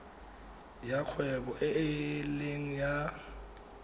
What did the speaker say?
ya kgwebo e leng ya